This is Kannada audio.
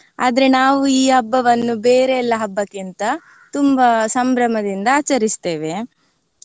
ಆದ್ರೆ ನಾವು ಈ ಹಬ್ಬವನ್ನು ಬೇರೆ ಎಲ್ಲ ಹಬ್ಬಕ್ಕಿಂತ ತುಂಬಾ ಸಂಭ್ರಮದಿಂದ ಆಚರಿಸ್ತೇವೆ.